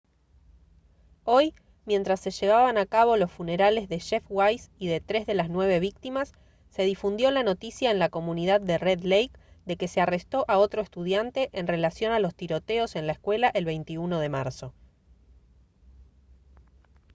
hoy mientras se llevaban a cabo los funerales de jeff weise y de tres de las nueve víctimas se difundió la noticia en la comunidad de red lake de que se arrestó a otro estudiante en relación a los tiroteos en la escuela el 21 de marzo